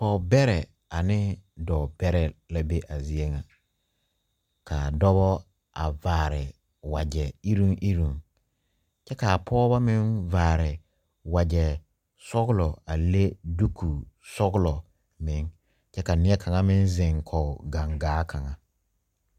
Pɔgberee ane doɔ beree la be a zeɛ nga kaa dɔba a vaare waje irun irun kye kaa pɔgba meng vaare wɔje sɔglo a lɛ duuku sɔglo meng kye ka neɛ kanga meng zeng kɔg gangaa kanga.